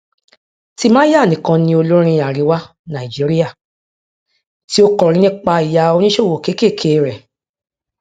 timaya nìkan ni olórin àríwá nàìjíríà tí ó kọrin nípa ìyá oníṣòwò kékèké rẹ